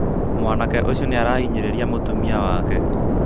mwanake ũcio nĩarahinyĩrĩria mũtumia wake